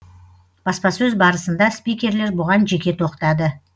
баспасөз барысында спикерлер бұған жеке тоқтады